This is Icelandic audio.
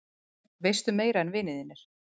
Veistu meira en vinir þínir?